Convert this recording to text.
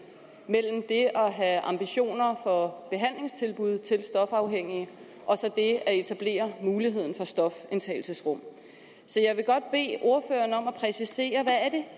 mellem det at have ambitioner for behandlingstilbud til stofafhængige og det at etablere muligheden for stofindtagelsesrum så jeg vil godt bede ordføreren om at præcisere hvad det